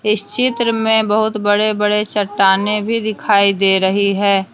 इस चित्र में बहुत बड़े बड़े चट्टानें भी दिखाई दे रही है।